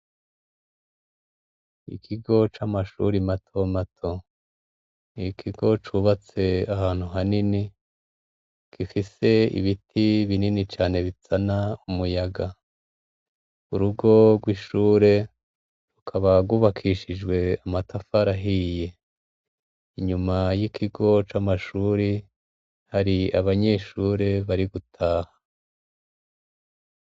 Ikigo c'amashuri imato mato iikigo cubatse ahantu hanini gifise ibiti binini cane bitsana umuyaga urugorwa'ishure rukabagubakishijwe amatafarahiye inyuma y'ikigoca amashure hari abanyeshure bari gutaha.